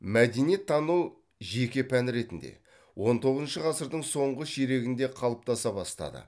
мәдениеттану жеке пән ретінде он тоғызыншы ғасырдың соңғы ширегінде қалыптаса бастады